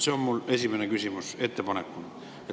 See on mu esimene küsimus koos ettepanekuga.